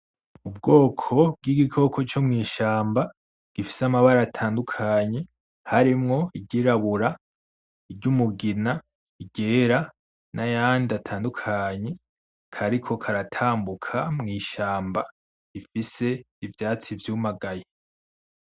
Ubwoko bw'igikoko co mw'ishamba gifise amabara atandukanye harimwo iryirabura, iryumugina, iryera nayandi atandukanye kariko karatambuka mw'ishamba ifise ivyatsi vyumagaye.